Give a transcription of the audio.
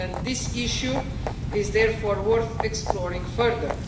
This issue is therefore worth exploring further.